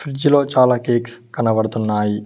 Fridge లో చాలా cakes కనబడుతున్నాయి.